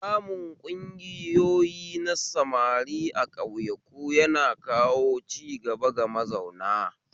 Samun ƙungoyi na samari a ƙauyaku yana kawo ciga ga mazauna